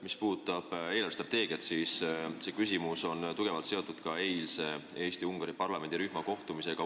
Mis puudutab eelarvestrateegiat, siis kõnealune küsimus on tugevalt seotud ka eilse Eesti-Ungari parlamendirühma kohtumisega.